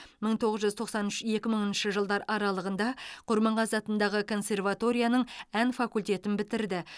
мың тоғыз жүз тоқсан үш екі мыңыншы жылдар құрманғазы атындағы консерваторияның ән факультетін бітірді